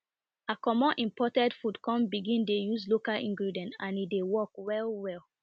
i comot imported food come begin dey use local ingredients and e dey work well well